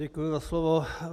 Děkuji za slovo.